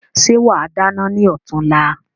Ṣe wa dáná ni ọ̀túnla?